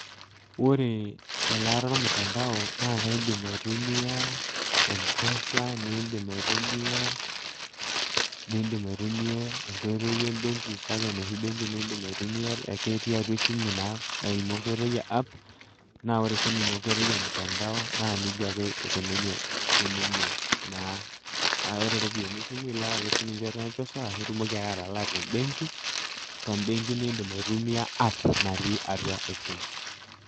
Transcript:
Ore elaata ormutandao naa kaidim aitumiyaa Mpesa, nindim aitumiyaa enkoitoi e mbenki kake noshi benki nindim aitumiyaa ake etii atua simu naa aimu enkoitoi e app naa ore sii ninye enkiotoi e mutandao naa nejia ake ekununye sii ninye naa. Kake kore eropiyiani e simu ilak ake sii ninye te Mpesa nitumoki ake atalaa te mbenki nindim aitumiyaa app nati atua esimu.